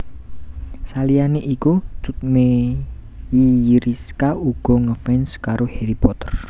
Saliyané iku Cut Meyriska uga ngefans karo Harry Potter